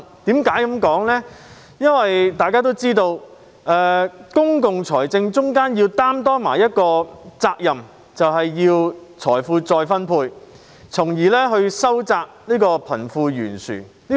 大家都知道，政府在公共財政方面須承擔的其中一種責任，就是財富再分配，從而收窄貧富懸殊。